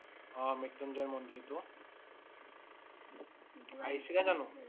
অ' মৃত্যুঞ্জয় মন্দিৰ টো। আহিছিলা জানো?